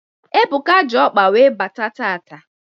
Ebuka ji ọkpa wee bata taata.